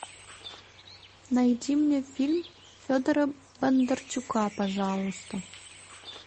найди мне фильм федора бондарчука пожалуйста